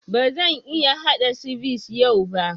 Ba zan iya haɗa sivice yau ba